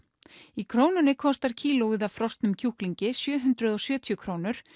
í Krónunni kostar kílóið af frosnum kjúklingi sjö hundruð og sjötíu krónur